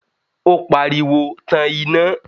ó pariwo, Tan iná!